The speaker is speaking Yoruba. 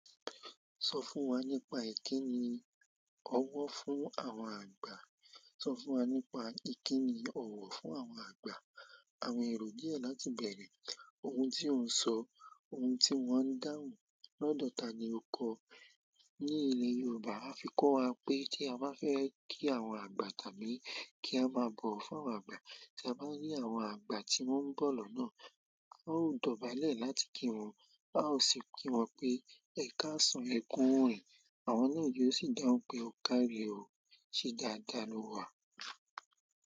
Sọ fún wa nípa ìkíni ọ̀wọ̀ fún àwọn àgbà. Sọ fún wa nípa ìkíni ọ̀wọ̀ fún àwọn àgbà. Àwọn èrò díẹ̀ láti bẹ̀rẹ̀. Ohun tí ó ń sọ, ohun tí wón ń dáhùn, lọ́dọ̀ ta ni o kọ? Ní ilẹ̀ Yorùbá, won fi kọ́ wa pé tí a bá fẹ́ kí àwọn àgbà tàbí kí a bá bọ̀wo fún àwọn àgbà, tí a bá rí àwọn àgbà tí wọ́n ń bọ̀ lọ́nà, a ó dọ̀bálẹ̀ láti kí wọn, a ó sì kí wọn pé "ẹ̀kà san, ẹkúurìn." Àwọn náà yóò sì dáhùn pé "o kàre o, ṣé dáadáa ló wà."